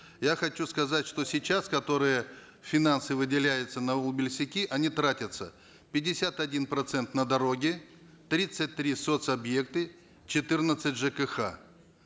я хочу сказать что сейчас которые финансы выделяются на они тратятся пятьдесят один процент на дороги тридцать три соц объекты четырнадцать жкх